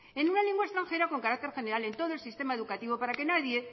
en una lengua extranjera con carácter general en todo el sistema educativo para que nadie